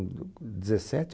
Do g dezessete